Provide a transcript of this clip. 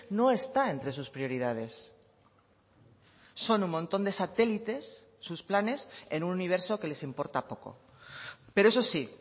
no está entre sus prioridades son un montón de satélites sus planes en un universo que les importa poco pero eso sí